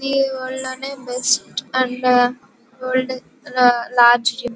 ఇది వరల్డ్ లోనే best and ఇది వరల్డ్ లార్జ్ జిమ్ .